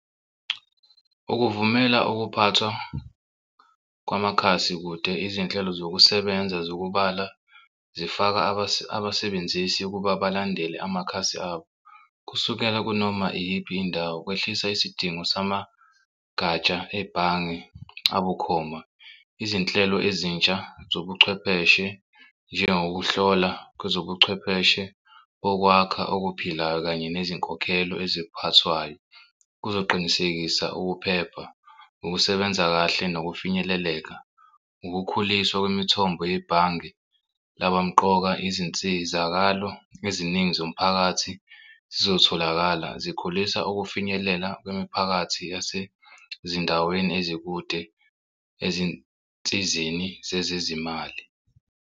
Ukuvumela ukuphathwa kwamakhasi kude izinhlelo zokusebenza zokubhala zifaka abasebenzisi ukuba balandele amakhasi abo. Kusukela kunoma iyiphi indawo, kwehlisa isidingo samagatsha ebhange abukhoma izinhlelo ezintsha zobuchwepheshe njengokuhlola kwezobuchwepheshe bokwakha okuphilayo kanye nezinkokhelo eziphathwayo kuzoqinisekisa ukuphepha, ukusebenza kahle nokufinyeleleka ukukhuliswa kwemithombo yebhange. Laba mqoka izinsizakalo eziningi zomphakathi zizotholakala zikhulisa ukufinyelela kwemiphakathi yasezindaweni ezikude ezinsizeni zezezimali.